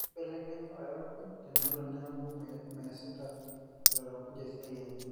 keibelekenyi olairakuj tenelo neaku meesiti olairakuj esiaai enye